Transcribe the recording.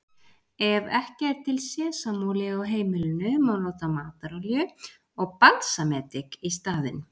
Ef ekki er til sesamolía á heimilinu má nota matarolíu og balsamedik í staðinn.